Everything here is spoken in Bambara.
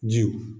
Jiw